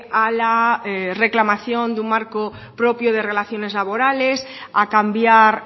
a la reclamación de un marco propio de relaciones laborales a cambiar